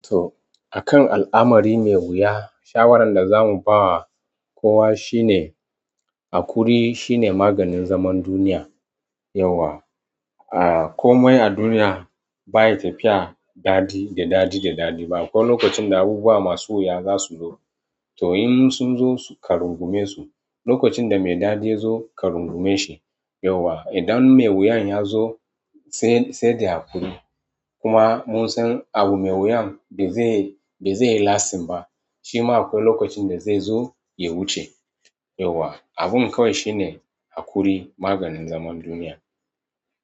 To, akan al'amari mai wuya, shawarar da zamu ba kowa shine, haƙuri shine maganin zaman duniya yauwa. A komai a duniya baya tafiya daɗi da daɗi da daɗi ba. Akwai lokacin da abubuwa masu wuya zasu zo. To in sunzo su karungumesu, lokacin damai daɗi yazo karungumeshi yauwa. Idan mai wuyan yazo sai, sai da haƙuri. Kuma munsan abu mai wuyan bazai, bazai lastim ba. Shima akwai lokacin da zaizo ya wuce yauwa. Abun kawai shine haƙuri maganin zaman duniya.